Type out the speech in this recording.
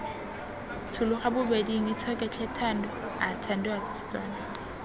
tshologa bobeding itshoke tlhe thando